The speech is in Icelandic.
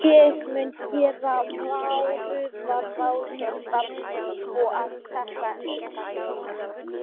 Ég mun gera varúðarráðstafanir svo að þetta endurtaki sig ekki.